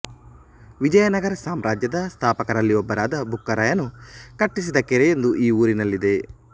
ವಿಜಯನಗರ ಸಾಮ್ರಾಜ್ಯದ ಸ್ಥಾಪಕರಲ್ಲಿ ಒಬ್ಬನಾದ ಬುಕ್ಕರಾಯನು ಕಟ್ಟಿಸಿದ ಕೆರೆಯೊಂದು ಈ ಊರಿನಲ್ಲಿದೆ